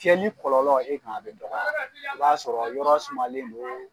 Tɛɲɛni kɔlɔlɔ e kan a bɛ dɔgɔ o b'a sɔrɔ yɔrɔ sumalen don